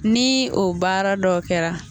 Ni o baara dɔw kɛra